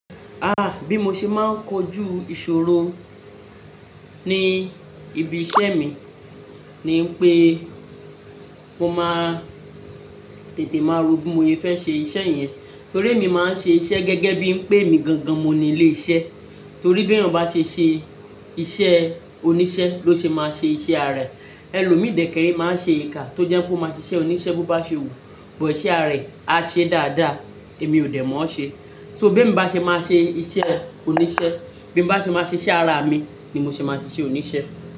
Ah! Bí mo ṣe máa ń kojú ìṣòro ní ibi iṣẹ́ mi ni pé mo máa tètè máa ro bí mo ṣe fẹ́ ṣe iṣẹ́ yẹn. Torí mi máa ń ṣe iṣẹ́ gẹ́gẹ́ bí ń pè mí gangan, mo ni léṣẹ́. Torí bí ẹyan bá ṣe ṣe iṣẹ́ oníṣẹ́ ló ṣe máa ṣe iṣẹ́ Ààrẹ. Ẹlòmíì dẹ́kẹ́rẹ́ máa ṣe èèkà tó jẹ́ pé ó máa ṣe iṣẹ́ oníṣẹ́ bó bá ṣe wù, bó ṣe ààrẹ, a ṣe dáadáa èmi ò dẹ̀ mọ ọ ṣe. So bí mo bá ṣe máa ṣe iṣẹ́ oníṣẹ́, bí mo bá ṣe máa ṣe iṣẹ́ ara mi ni mo ṣe máa ṣe iṣẹ́ oníṣẹ́